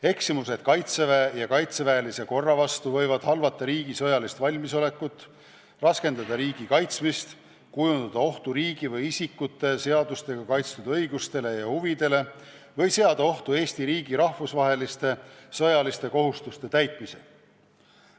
Eksimused Kaitseväe ja kaitseväelise korra vastu võivad halvata riigi sõjalist valmisolekut, raskendada riigi kaitsmist, kujutada ohtu riigi või isikute seadustega kaitstud õigustele ja huvidele ning seada ohtu Eesti riigi rahvusvaheliste sõjaliste kohustuste täitmise.